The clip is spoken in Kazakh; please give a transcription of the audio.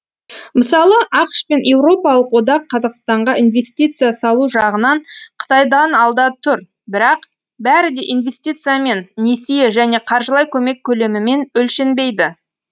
мысалы ақш пен еуропалық одақ қазақстанға инвестиция салу жағынан қытайдан алда тұр бірақ бәрі де инвестициямен несие және қаржылай көмек көлемімен өлшенбейді